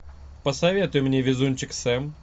посоветуй мне везунчик сэм